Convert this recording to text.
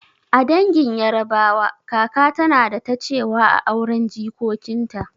A dangin yarabawa, kaka tana da ta cewa a auren jikokinta